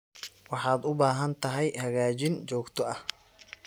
Waxaad u baahan tahay hagaajin joogto ah.